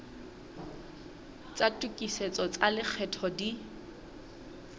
tsa tokisetso tsa lekgetho di